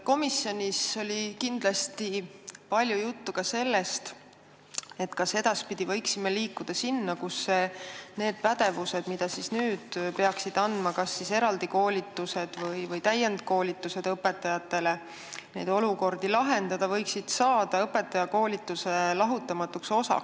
Komisjonis oli kindlasti juttu ka sellest, kas edaspidi võiksime liikuda sinna, et see pädevus, mille nende olukordade lahendamiseks peaksid andma kas eraldi koolitused või täienduskoolitused õpetajatele, võiks kujuneda õpetajakoolituse lahutamatu osana.